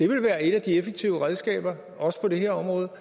vil være et af de effektive redskaber også på det her område